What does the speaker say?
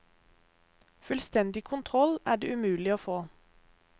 Fullstendig kontroll er det umulig å få.